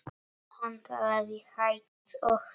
Hann talaði hægt og skýrt.